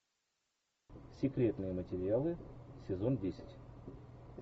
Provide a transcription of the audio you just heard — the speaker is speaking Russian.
секретные материалы сезон десять